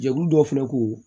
Jɛkulu dɔ fana ko